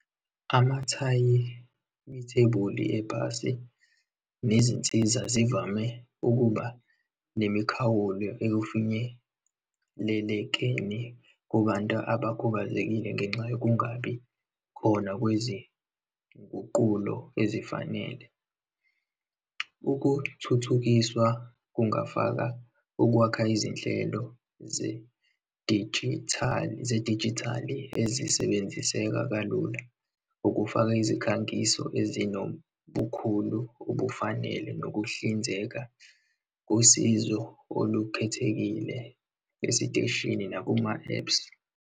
Amathayi yithebuli ebhasi nezinsiza zivame ukuba nemikhawulo ekufinyelelekeni kubantu abakhubazekile ngenxa yokungabi khona kwezinguqulo ezifanele. Ukuthuthukiswa kungafaka ukwakha izinhlelo zedijithali, zedijithali ezisebenziseka kalula, ukufaka izikhangiso ezinobukhulu obufanele, nokuhlinzeka ngosizo olukhethekile esiteshini nakuma-apps.